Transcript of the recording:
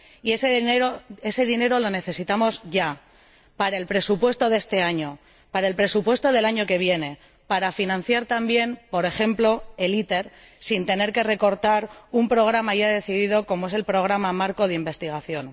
Y ese dinero lo necesitamos ya, para el presupuesto de este año, para el presupuesto del año que viene, para financiar también, por ejemplo, el ITER sin tener que recortar los fondos de un programa ya decidido, como es el Programa Marco de Investigación.